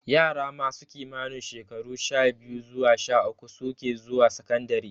Yara masu kimanin shekaru sha-biyu zuwa sha-uku suke zuwa sakandare.